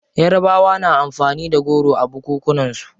Yarabawa na amfani da goro a bukukunan su.